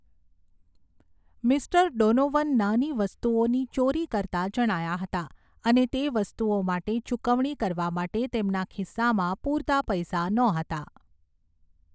Mister Donovan નાની વસ્તુઓની ચોરી કરતા જણાયા હતા અને તે વસ્તુઓ માટે ચૂકવણી કરવા માટે તેમના ખિસ્સામાં પૂરતા પૈસા નહોતા.